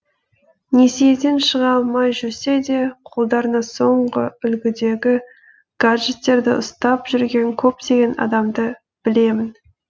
несиеден шыға алмай жүрсе де қолдарына соңғы үлгідегі гаджеттерді ұстап жүрген көптеген адамды білемін